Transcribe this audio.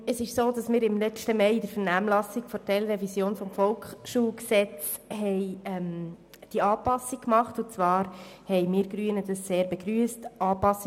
Es ist so, dass wir diese Anpassung betreffend die Ferienbetreuung letzten Mai im Rahmen der Vernehmlassung zur Teilrevision des VSG gemacht haben.